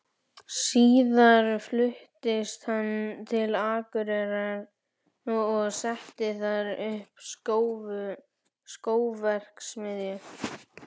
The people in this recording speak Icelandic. Síðar fluttist hann til Akureyrar og setti þar upp skóverksmiðju.